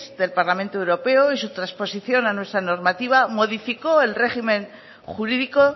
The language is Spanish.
del parlamento europeo y su trasposición a nuestra normativa modificó el régimen jurídico